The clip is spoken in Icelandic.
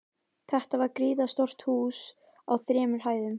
Þetta var gríðarstórt hús á þremur hæðum.